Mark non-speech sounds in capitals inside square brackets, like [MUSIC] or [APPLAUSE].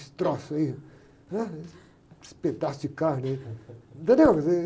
Esse troço aí, ãh, com esse pedaço de carne aí. [LAUGHS]